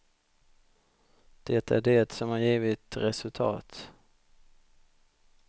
Det är det som har givit resultat.